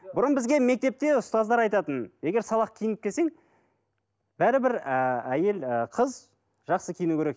бұрын бізге мектепте ұстаздар айтатын егер сабақ киініп келсең бәрібір ы әйел ы қыз жақсы киіну керек